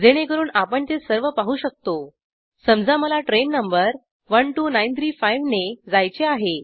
जेणेकरून आपण ते सर्व पाहू शकतो समजा मला ट्रेन नंबर 12935ने जायचे आहे